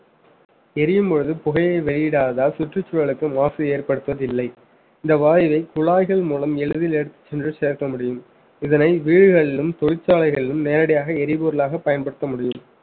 எரியும் பொழுது புகையை வெளியிடாததால் சுற்றுச்சூழலுக்கு மாசு ஏற்படுத்துவதில்லை இந்த வாயுவை குழாய்கள் மூலம் எளிதில் எடுத்து சென்று சேர்க்க முடியும் இதனை வீடுகளிலும் தொழிற்சாலைகளிலும் நேரடியாக எரிபொருளாக பயன்படுத்த முடியும்